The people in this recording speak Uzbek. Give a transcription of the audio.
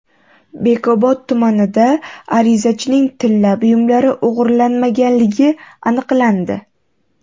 Bekobod tumanida arizachining tilla buyumlari o‘g‘irlanmaganligi aniqlandi.